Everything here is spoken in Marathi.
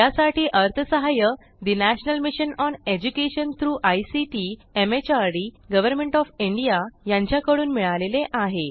यासाठी अर्थसहाय्य national mission on education through ICT MHRD government of India यांच्याकडून मिळालेले आहे